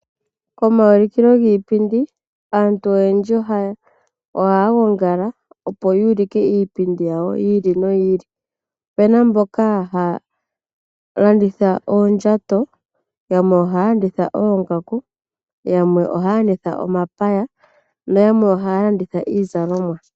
Komaulikilo giipindi aantu oyendji ohaya gongala opo yuulike iipindi yawo yi ili noyi ili. Opena mboka haya landitha oondjato, yamwe ohaya landitha oongaku, yamwe ohaya landitha omapaya noyamwe ohaya landitha iizalomwa.